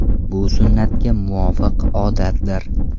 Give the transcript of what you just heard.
Bu sunnatga muvofiq odatdir.